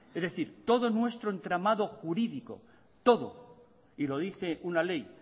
es decir todo nuestro entramado jurídico todo y lo dice una ley